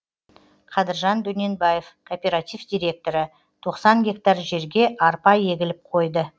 қадыржан дөненбаев кооператив директоры тоқсан гектар жерге арпа егіліп қойды